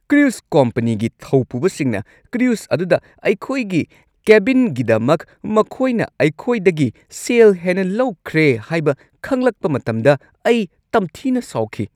Cruise ꯀꯣꯝꯄꯅꯤꯒꯤ ꯊꯧꯄꯨꯕꯁꯤꯡꯅ cruise ꯑꯗꯨꯗ ꯑꯩꯈꯣꯏꯒꯤ ꯀꯦꯕꯤꯟꯒꯤꯗꯃꯛ ꯃꯈꯣꯏꯅ ꯑꯩꯈꯣꯏꯗꯒꯤ ꯁꯦꯜ ꯍꯦꯟꯅ ꯂꯧꯈ꯭ꯔꯦ ꯍꯥꯏꯕ ꯈꯪꯂꯛꯄ ꯃꯇꯝꯗ ꯑꯩ ꯇꯝꯊꯤꯅ ꯁꯥꯎꯈꯤ꯫